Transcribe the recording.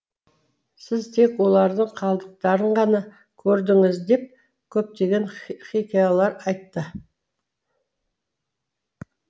сіз тек олардың қалдықтарын ғана көрдіңіз деп көптеген хикаялар айтты